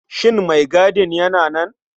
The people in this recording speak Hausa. Shin maigadin yana nan?